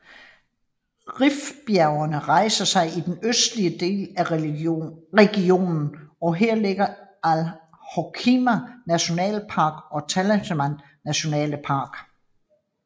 Rifbjergene rejser sig i den østlige del af regionen og her ligger Al Hoceima National Park og Talassemtane National Park